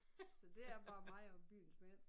Så det er bare mig og byens mænd